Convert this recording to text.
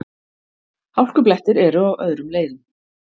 Hálkublettir eru á öðrum leiðum